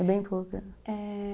É bem pouco, é, é...